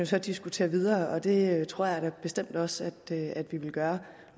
så diskutere videre og det tror jeg da bestemt også at vi vil gøre